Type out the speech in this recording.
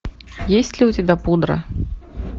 есть ли у тебя пудра